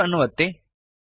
save ಅನ್ನು ಒತ್ತಿ